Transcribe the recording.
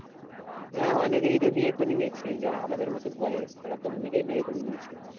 হ্যাঁ অনেকেরেই তো বিয়ে করে নিয়েছে। যারা আমাদের মতন বয়স তারা তো অনেকেই বিয়ে করে নিয়েছে।